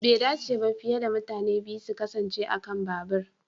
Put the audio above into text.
Bai dace ba fiye da mutane biyu su kasance a kan babur.